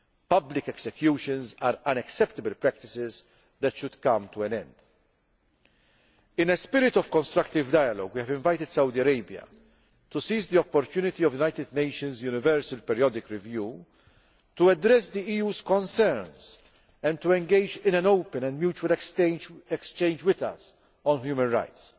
Public executions are unacceptable practices that should come to an end. In a spirit of constructive dialogue, we have invited Saudi Arabia to seize the opportunity of the UN Universal Periodic Review to address the EU's concerns and to engage in an open and mutual exchange with us on human